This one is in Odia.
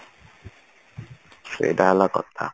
ସେଇଟା ହେଲା କଥା